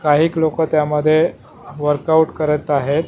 काहीक लोकं त्यामध्ये वर्कआउट करत आहेत.